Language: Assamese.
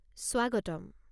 স্বাগতম!